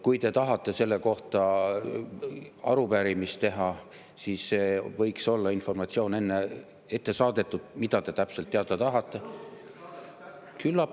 Kui te tahate selle kohta arupärimist teha, siis võiks olla informatsioon ette saadetud, mida te täpselt teada tahate.